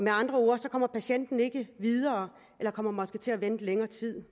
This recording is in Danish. andre ord kommer patienten ikke videre eller kommer måske til at vente længere tid